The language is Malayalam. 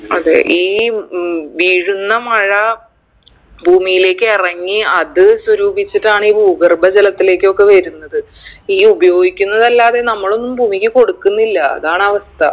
അതെ ഈ ഉം വീഴുന്ന മഴ ഭൂമിയിലേക്ക് എറങ്ങി അത് സ്വരൂപിച്ചിട്ടാണ് ഈ ഭൂഗർഭ ജലത്തിലേക്കൊക്കെ വരുന്നത് ഈ ഉപയോഗിക്കുന്നതല്ലാതെ നമ്മളൊന്നും ഭൂമിക്ക് കൊടുക്കുന്നില്ല അതാണ് അവസ്ഥ